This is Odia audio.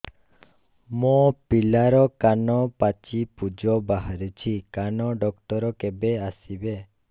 ମୋ ପିଲାର କାନ ପାଚି ପୂଜ ବାହାରୁଚି କାନ ଡକ୍ଟର କେବେ ଆସିବେ